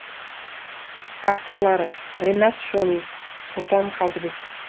авторлары риат шони сұлтан қалдыбек